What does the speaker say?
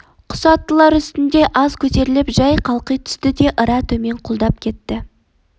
құс аттылар үстінде аз көтеріліп жай қалқи түсті де ыра төмен құлдап кетті